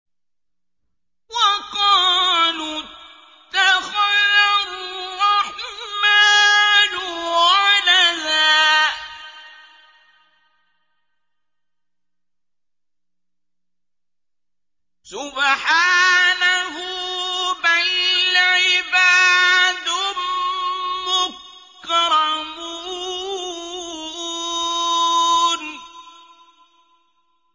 وَقَالُوا اتَّخَذَ الرَّحْمَٰنُ وَلَدًا ۗ سُبْحَانَهُ ۚ بَلْ عِبَادٌ مُّكْرَمُونَ